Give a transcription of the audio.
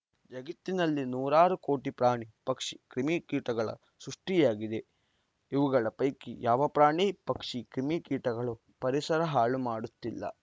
ಜಗತ್ತಿನಲ್ಲಿ ನೂರಾರು ಕೋಟಿ ಪ್ರಾಣಿ ಪಕ್ಷಿ ಕ್ರಿಮಿ ಕೀಟಗಳ ಸೃಷ್ಟಿಯಾಗಿವೆ ಇವುಗಳ ಪೈಕಿ ಯಾವ ಪ್ರಾಣಿ ಪಕ್ಷಿ ಕ್ರಿಮಿ ಕೀಟಗಳೂ ಪರಿಸರ ಹಾಳು ಮಾಡುತ್ತಿಲ್ಲ